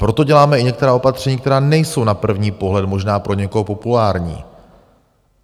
Proto děláme i některá opatření, která nejsou na první pohled možná pro někoho populární.